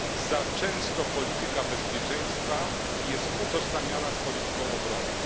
Za często polityka bezpieczeństwa jest utożsamiana z polityką obronną.